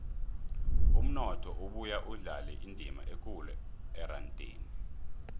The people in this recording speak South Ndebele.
umnotho ubuya udlale indima ekulu erandeni